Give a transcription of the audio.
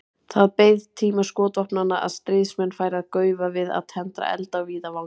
Það beið tíma skotvopnanna að stríðsmenn færu að gaufa við að tendra eld á víðavangi.